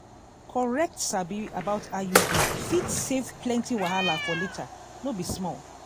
correct sabi about iud fit save plenty wahala for later no be small